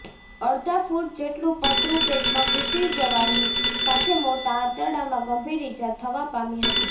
અડધા ફૂટ જેટલું પતરું પેટમાં ઘૂસી જવાની સાથે મોટા આંતરડામાં ગંભીર ઇજા થવા પામી હતી